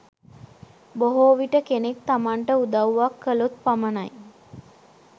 බොහෝ විට කෙනෙක් තමන්ට උදව්වක් කළොත් පමණයි,